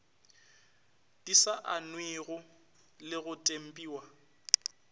di saennwego le go tempiwa